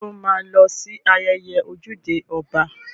Sọ ma lọ sí ayẹyẹ ojúde ọba?